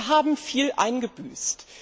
Wir haben viel eingebüßt.